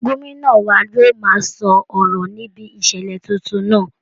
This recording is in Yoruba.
Gómìnà wa yóò máa sọ ọ̀rọ̀ níbi ìṣílé tuntun náà